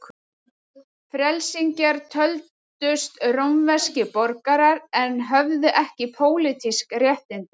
Frelsingjar töldust rómverskir borgarar en höfðu ekki pólitísk réttindi.